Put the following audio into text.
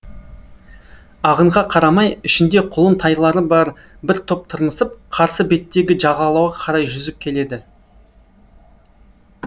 ағынға қарамай ішінде құлын тайлары бар бір топ тырмысып қарсы беттегі жағалауға қарай жүзіп келеді